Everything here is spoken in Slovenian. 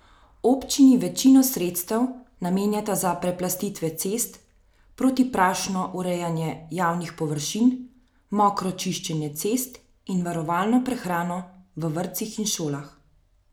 Občini večino sredstev namenjata za preplastitve cest, protiprašno urejanje javnih površin, mokro čiščenje cest in varovalno prehrano v vrtcih in šolah.